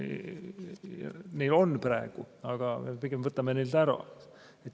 Neil on praegu, aga pigem me võtame selle neilt ära.